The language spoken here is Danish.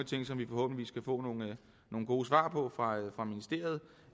ting som vi forhåbentlig kan få nogle gode svar på fra ministeriet